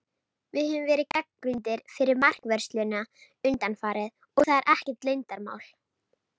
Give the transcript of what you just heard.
Við höfum verið gagnrýndir fyrir markvörsluna undanfarið, og það er ekkert leyndarmál.